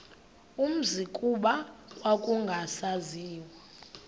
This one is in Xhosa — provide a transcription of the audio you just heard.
umzi kuba kwakungasaziwa